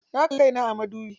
Na kalli kai na a madubi.